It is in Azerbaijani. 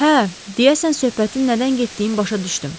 Hə, deyəsən söhbətin nədən getdiyini başa düşdüm.